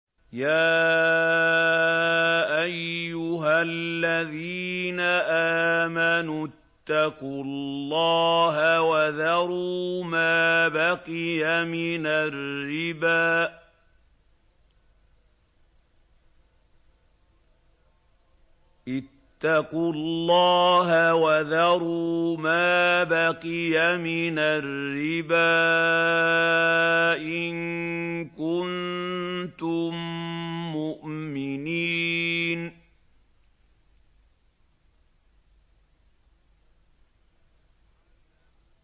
يَا أَيُّهَا الَّذِينَ آمَنُوا اتَّقُوا اللَّهَ وَذَرُوا مَا بَقِيَ مِنَ الرِّبَا إِن كُنتُم مُّؤْمِنِينَ